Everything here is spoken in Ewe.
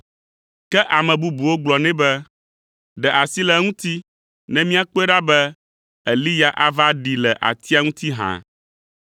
Ke ame bubuwo gblɔ nɛ be, “Ɖe asi le eŋuti ne míakpɔe ɖa be Eliya ava ɖee le atia ŋuti hã.”